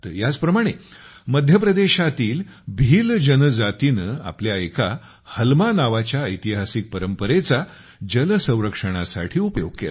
ह्याच प्रमाणे मध्य प्रदेशातील भील्ल जनजातीने आपल्या एका हलमा नावाच्या ऐतिहासिक परंपरेचा जल संरक्षणा साठी उपयोग केला